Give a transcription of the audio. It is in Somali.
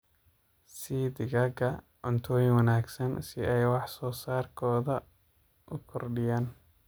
Sii digaagga cutoyiin wanaagsan si ay wax soo saarkodha u kordhiyaan.